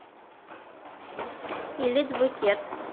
элит букет